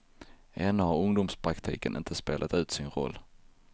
Ännu har ungdomspraktiken inte spelat ut sin roll.